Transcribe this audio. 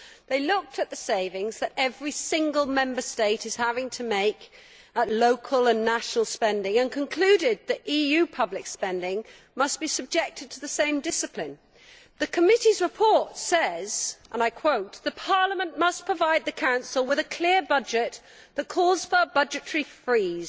They looked at the savings that every single Member State is having to make at local and national spending level and concluded that EU public spending must be subjected to the same discipline. The committee's report says, and I quote, Parliament must provide the Council with a clear budget that calls for a budgetary freeze,